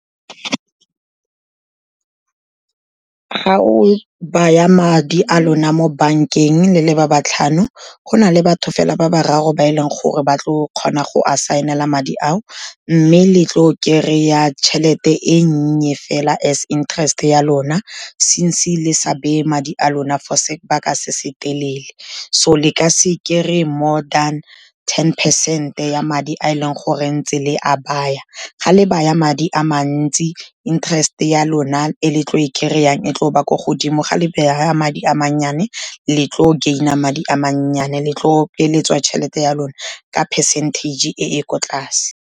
Ga o baya madi a lona mo bankeng le le ba botlhano, go na le batho fela ba bararo ba e leng gore ba tlo kgona go a saenela madi ao, mme le tlo kry-a tšhelete e nnye fela as interest ya lona, since-e le sa beye madi a lona for sebaka se se telele, so le ka se kry-e more than ten percent-e ya madi a e leng gore ntse le a baya. Ga le baya madi a mantsi interest-e ya lona e le tlo e kry-ang e tlo ba ko godimo, ga le baya madi a mannyane le tlo gain-a madi a mannyane, le tlo peeletswa tšhelete ya lona ka percentage-e e ko tlase.